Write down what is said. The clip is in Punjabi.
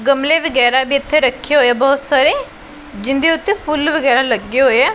ਗਮਲੇ ਵਗੈਰਾ ਵੀ ਇੱਥੇ ਰੱਖੇ ਹੋਏ ਆ ਬਹੁਤ ਸਾਰੇ ਜਿਹੰਦੇ ਓੱਤੇ ਫੁੱਲ ਵਗੈਰਾ ਲੱਗੇ ਹੋਏ ਆ।